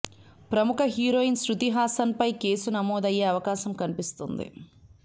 ప్రముఖ హీరోయిన్ శృతి హసన్ పై కేసు నమోదు అయ్యే అవకాశం కనిపిస్తుంది